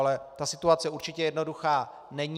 Ale ta situace určitě jednoduchá není.